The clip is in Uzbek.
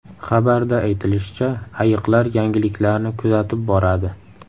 Xabarda aytilishicha, ayiqlar yangiliklarni kuzatib boradi.